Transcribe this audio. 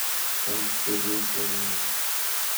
Cham chepyoseng'ung'.